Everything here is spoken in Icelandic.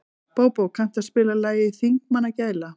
Bóbó, kanntu að spila lagið „Þingmannagæla“?